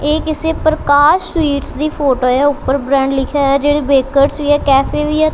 ਇਹ ਕਿਸੇ ਪ੍ਰਕਾਸ਼ ਸਵੀਟਸ ਦੀ ਫੋਟੋ ਹੈ ਉੱਪਰ ਬ੍ਰਾਂਡ ਲਿਖਿਆ ਜਿਹੜੀ ਬੇਕਰ ਵੀ ਆ ਕੈਫੇ ਵੀ ਆ।